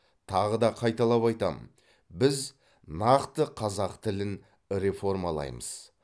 тағы да қайталап айтамын біз нақты қазақ тілін реформалаймыз